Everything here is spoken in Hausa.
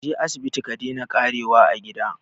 Kaje asibiti ka daina ƙarewa a gida